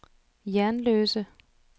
Jernløse